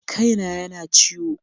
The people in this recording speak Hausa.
Kai na ya na ciwo.